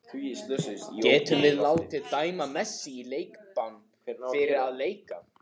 Getum við látið dæma Messi í leikbann fyrir að leika?